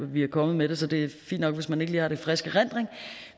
vi er kommet med det så det er fint nok hvis man ikke lige har det i frisk erindring